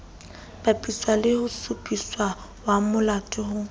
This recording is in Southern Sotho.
bapiswe le tshupamolato eo ho